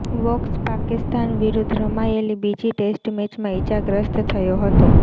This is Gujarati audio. વોક્સ પાકિસ્તાન વિરુદ્ધ રમાયેલી બીજી ટેસ્ટ મેચમાં ઈજાગ્રસ્ત થયો હતો